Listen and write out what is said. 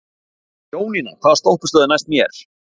Jónína, hvaða stoppistöð er næst mér?